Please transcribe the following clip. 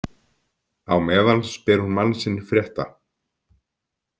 Á meðan spyr hún mann sinn frétta.